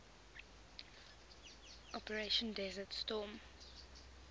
operation desert storm